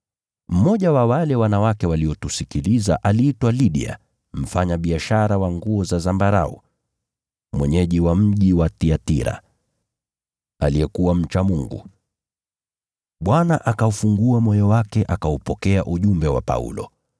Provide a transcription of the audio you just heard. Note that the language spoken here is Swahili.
Mmoja wa wale wanawake waliotusikiliza aliitwa Lidia, mfanyabiashara wa nguo za zambarau, mwenyeji wa mji wa Thiatira, aliyekuwa mcha Mungu. Bwana akaufungua moyo wake akaupokea ujumbe wa Paulo.